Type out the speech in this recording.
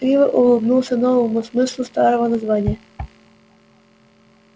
криво улыбнулся новому смыслу старого названия